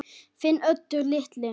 Þinn Oddur litli.